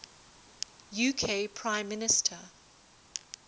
uk prime minister